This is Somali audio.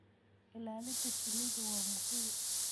Ilaalinta shinnidu waa muhiim.